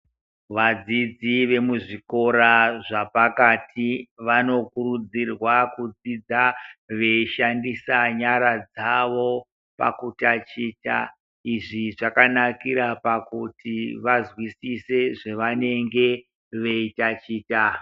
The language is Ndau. Vadzidzi vemuzVikora zvapakati vanokurudzirwa kudzidza veishandisa nyara dzawo pakutachita izvi zvakanakira pakuti vazwisise pavanenge veitichita.